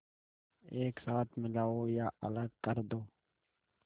एक साथ मिलाओ या अलग कर दो